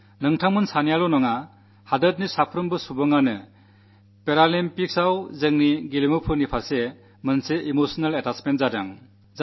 നിങ്ങൾ രണ്ടുപേരിൽ മാത്രമല്ലരാജ്യത്തെ എല്ലാവരിലും പാരാളിമ്പിക്സിൽ പങ്കെടുത്ത നമ്മുടെ കളിക്കാരോട് ഒരു വൈകാരികബന്ധം ഉടലെടുത്തിട്ടുണ്ട്